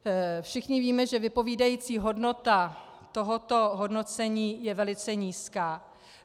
Všichni víme, že vypovídací hodnota tohoto hodnocení je velice nízká.